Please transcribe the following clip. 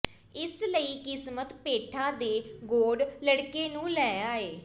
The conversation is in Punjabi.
ਇਸ ਲਈ ਕਿਸਮਤ ਪੇਠਾ ਦੇ ਗੌਡ ਲੜਕੇ ਨੂੰ ਲੈ ਆਏ